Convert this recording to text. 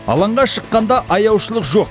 алаңға шыққанда аяушылық жоқ